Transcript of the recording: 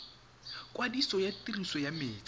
kwadiso ya tiriso ya metsi